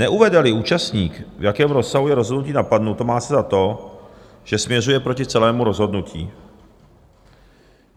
Neuvede-li účastník, v jakém rozsahu je rozhodnutí napadeno, má se za to, že směřuje proti celému rozhodnutí.